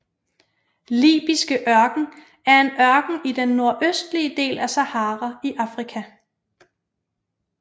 Libyske Ørken er en ørken i den nordøstlige del af Sahara i Afrika